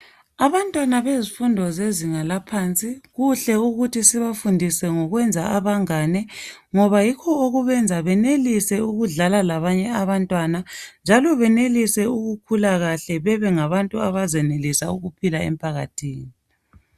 Abantwana bezifundo zezinga laphansi kuhle ukuthi sibafundise ngokwenza abangane ngoba yikho okubenza benelise ukudlala labanye abantwana njalo benelise ukukhula kuhle bebengabantu abazenelisa ukuphila emphakathini.